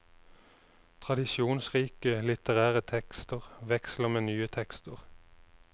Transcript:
Tradisjonsrike litterære tekster veksler med nye tekster.